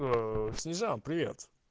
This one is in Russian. снежан привет